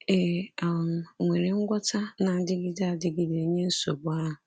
È um nwere ngwọta na-adịgide adịgide nye nsogbu ahụ?